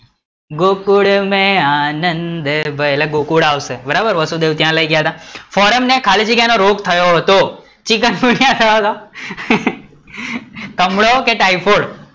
ગોકુલ મેં આનંદ ભયો, એલા ગોકુલ આવશે બરાબર વસુદેવ ત્યાં લઇ ગયા હતા, ફોરામ ને ખાલી જગ્યા નો રોગ થયો હતો ચિકનગુનિયા થયો હતો કમળો કે ટાયફોઇડ?